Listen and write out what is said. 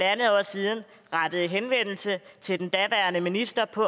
år siden rettede henvendelse til den daværende minister på